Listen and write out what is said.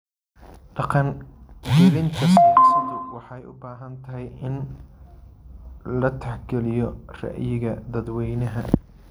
Dhaqangelinta siyaasaddu waxay u baahan tahay in la tixgeliyo ra'yiga dadweynaha.